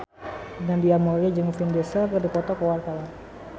Nadia Mulya jeung Vin Diesel keur dipoto ku wartawan